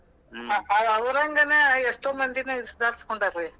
ಅವರಂಗನ ಎಷ್ಟೋ ಮಂದಿನೂ ಸುಧಾರಸ್ಕೊಂಡಾರ್ ರೀ.